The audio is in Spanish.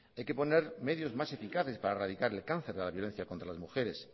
hay que poner medios más eficaces para erradicar el cáncer de la violencia contra las mujeres